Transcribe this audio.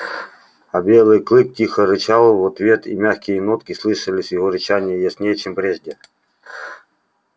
а белый клык тихо рычал в ответ и мягкие нотки слышались в его рычании яснее чем прежде